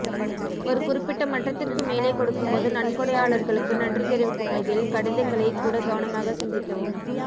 ஒரு குறிப்பிட்ட மட்டத்திற்கு மேலே கொடுக்கும்போது நன்கொடையாளர்களுக்கு நன்றி தெரிவிக்கும் வகையில் கடிதங்களைக் கூட கவனமாக சிந்திக்கவும்